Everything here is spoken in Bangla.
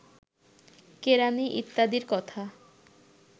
কেরাণী ইত্যাদির কথা